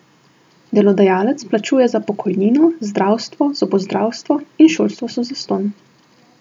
Delodajalec plačuje za pokojnino, zdravstvo, zobozdravstvo in šolstvo so zastonj.